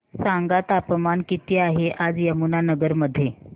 सांगा तापमान किती आहे आज यमुनानगर मध्ये